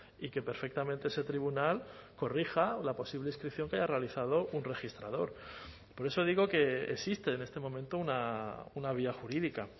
y que perfectamente ese tribunal corrija la posible inscripción que haya realizado un registrador por eso digo que existe en este momento una vía jurídica